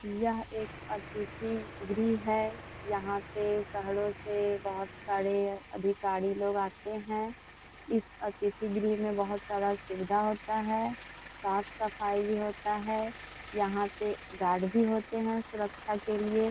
यह एक अतिथि गृह है। यहाँ पे शहरो से बोहोत बड़े अधिकारी लोग आते है। इस अतिथि गृह में बोहोत सारा सुविधा होता है। साफ़-सफाई भी होता है। यहाँ के गार्ड भी होते है सुरक्षा के लिए।